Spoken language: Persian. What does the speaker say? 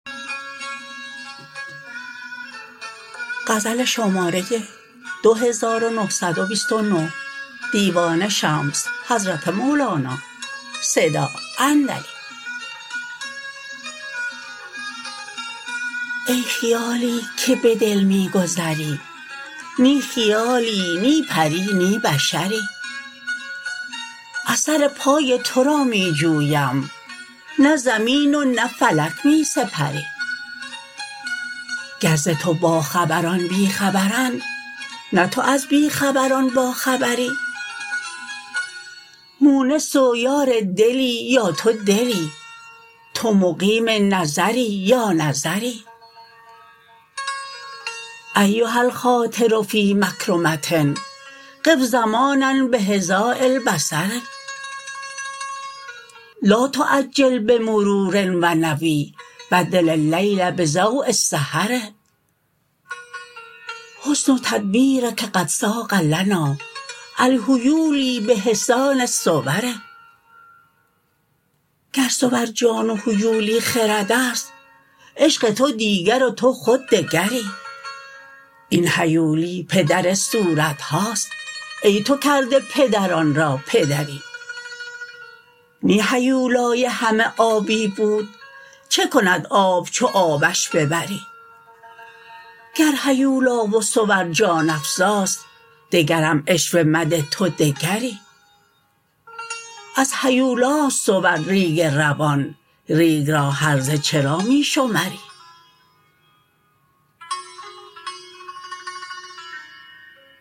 ای خیالی که به دل می گذری نی خیالی نی پری نی بشری اثر پای تو را می جویم نه زمین و نه فلک می سپری گر ز تو باخبران بی خبرند نه تو از بی خبران باخبری مونس و یار دلی یا تو دلی تو مقیم نظری یا نظری ایها الخاطر فی مکرمه قف زمانا بخداء البصر لا تعجل به مرور و نوی بدل اللیل بضؤ السحر حسن تدبیرک قد صاغ لنا الهیولی به حسان الصور گر صور جان و هیولی خرد است عشق تو دیگر و تو خود دگری این هیولی پدر صورت هاست ای تو کرده پدران را پدری نی هیولای همه آبی بود چه کند آب چو آبش ببری گر هیولا و صور جان افزاست دگرم عشوه مده تو دگری از هیولا است صور ریگ روان ریگ را هرزه چرا می شمری